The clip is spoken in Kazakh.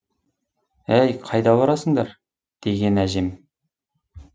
әй қайда барасыңдар деген әжем